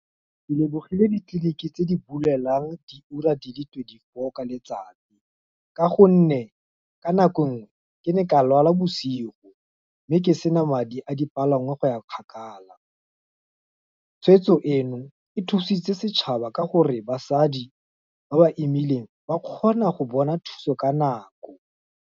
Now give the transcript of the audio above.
Ke lebogile ditleliniki tse di bulelang diura di le twenty-four ka letsatsi, ka gonne, ka nako ngwe, ke ne ka lwala bosigo, mme ke sena madi a dipalangwa go ya kgakala, tshwetso eno e thusitse setšhaba ka gore, basadi, ba ba emeileng, ba kgona go bona thuso ka nako.